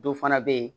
Dɔ fana bɛ yen